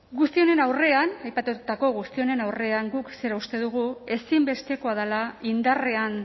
guzti honen aurrean aipatutako guzti honen aurrean guk zera uste dugu ezinbestekoa dela indarrean